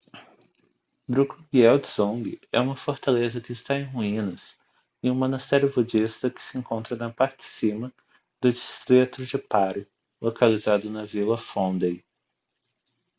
drukgyel dzong é uma fortaleza que está em ruínas e um monastério budista que se encontra na parte de cima do distrito de paro localizado na vila phondey